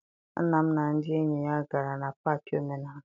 Nna m na ndị enyi ya gara na paakị omenala.